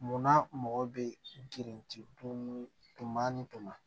Munna mɔgɔ bɛ girin don mun na